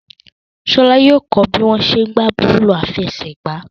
Ṣọlá yóò kó bí wọ́n ṣe ń gbá bọ́ọ̀lù àfẹsẹ̀gbá.